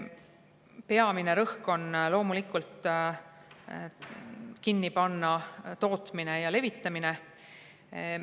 Peamine rõhk on loomulikult tootmise kinnipanemisel ja levitamise.